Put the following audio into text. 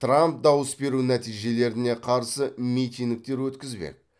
трамп дауыс беру нәтижелеріне қарсы митингтер өткізбек